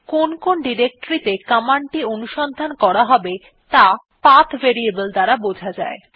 কোন কোন ডিরেক্টরী ত়ে কমান্ডটি অনুসন্ধান করা হবে ত়া পাথ ভেরিয়েবল দ্বারা বোঝা যায়